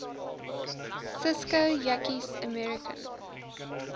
cisko yakkies american